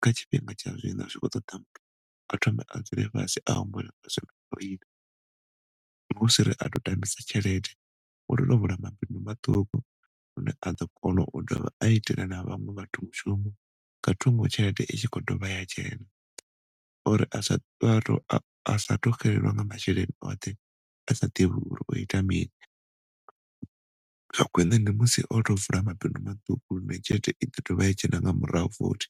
kha tshifhinga tsha zwino zwi khou ṱoḓa muthu a thome a dzule fhasi a humbule zwine a khou ila hu siri a tou tambisa tshelede u tea u tou vula mabindu maṱuku hune a ḓo kona a dovha a itela na vhaṅwe vhathu mushumo nga thungo tshelede i tshi khou dovha ya dzhena uri asa tou xelelwa nga masheleni oṱhe asa ḓivhi uri o ita mini tsha khwiṋe ndi musi oto vula mabindu maṱuku hune tshelede i ḓo dovha ya dzhena nga murahu futhi.